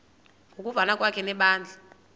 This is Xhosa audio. ngokuvana kwakhe nebandla